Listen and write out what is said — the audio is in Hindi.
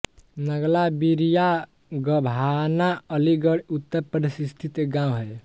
नगला विरिआ गभाना अलीगढ़ उत्तर प्रदेश स्थित एक गाँव है